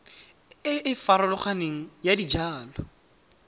e e farologaneng ya dijalo